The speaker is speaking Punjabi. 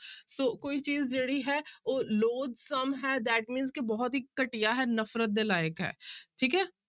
ਸੋ ਕੋਈ ਚੀਜ਼ ਜਿਹੜੀ ਹੈ ਉਹ loathsome ਹੈ that mean ਕਿ ਬਹੁਤ ਹੀ ਘਟੀਆ ਹੈ ਨਫ਼ਰਤ ਦੇ ਲਾਇਕ ਹੈ ਠੀਕ ਹੈ।